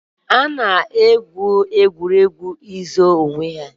Ha na-egwu egwuregwu zoo na ọchụchọ.